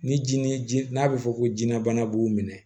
Ni ji ni ji n'a bɛ fɔ ko jinɛ bana b'u minɛ